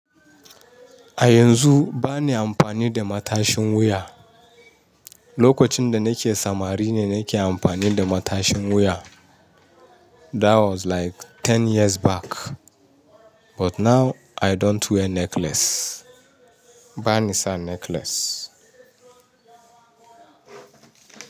A yanzu bana amfani da matashin wuya. Lokacin da nake samari ne nake amfani da matashin wuya. That was like ten years back. But now I don't wear necklace. Ba ni sa necklace.